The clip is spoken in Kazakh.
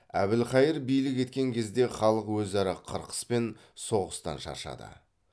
әбілхайыр билік еткен кезде халық өзара қырқыс пен соғыстан шаршады